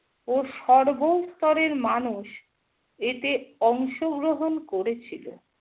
ও সর্ব স্তররের মানুষ এতে অংশগ্রহণ করেছিল।